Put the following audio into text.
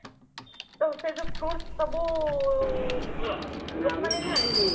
ତ ସେଇ ଯୋଉ fruits ସବୁ ଲୋକ ମାନେ ହି ଆଣିଥିବେ